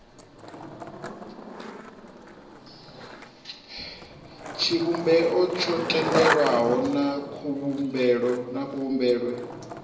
tshivhumbeo tsho tendelwaho na kuvhumbelwe